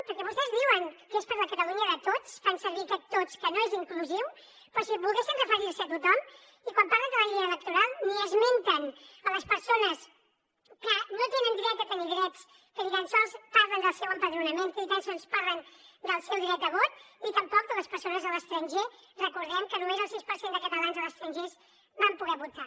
perquè vostès diuen que és per a la catalunya de tots fan servir aquest tots que no és inclusiu com si volguessin referir·se a tothom i quan parlen de la llei electoral ni esmenten les persones que no tenen dret a tenir drets ni tan sols parlen del seu empadronament ni tan sols parlen del seu dret de vot ni tampoc de les persones a l’estranger recordem que només el sis per cent de catalans a l’estranger van poder votar